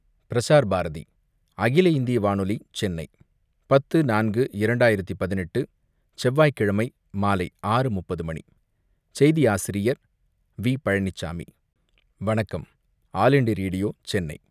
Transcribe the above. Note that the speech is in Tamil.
பிரஸார்பாரதி, அகில இந்திய வானொலி - சென்னை, 10.04.2018 செவ்வாய்க்கிழமை மாலை 6:30 மணி, செய்தி ஆசிரியர் வி. பழனிசாமி வணக்கம். All India Radio - Chennai